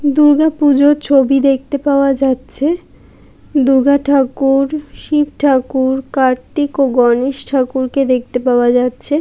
দূর্গা পূজার ছবি দেখতে পাওয়া যাচ্ছে দুর্গা ঠাকুর শিব ঠাকুর কার্তিক ও গণেশ ঠাকুরকে দেখতে পাওয়া যাচ্ছে